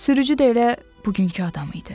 Sürücü də elə bugünkü adam idi.